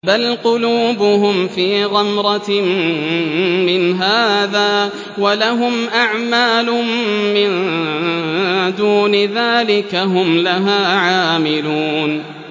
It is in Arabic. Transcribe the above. بَلْ قُلُوبُهُمْ فِي غَمْرَةٍ مِّنْ هَٰذَا وَلَهُمْ أَعْمَالٌ مِّن دُونِ ذَٰلِكَ هُمْ لَهَا عَامِلُونَ